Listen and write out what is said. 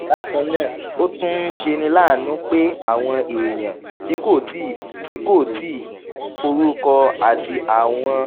bákan náà ó tún ń ṣeni láàánú pé àwọn èèyàn tí kò tíì kò tíì forúkọsílẹ̀ àti àwọn